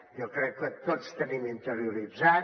jo crec que tots tenim interioritzat